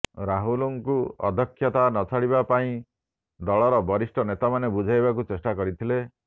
ରାହୁଲଙ୍କୁ ଅଧ୍ୟକ୍ଷତା ନଛାଡ଼ିବା ପାଇଁ ଦଳର ବରିଷ୍ଠ ନେତାମାନେ ବୁଝାଇବାକୁ ଚେଷ୍ଟା କରିଥିଲେ